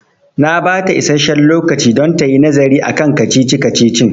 Na bata isasshen lokaci don tayi nazari akan kacici-kacicin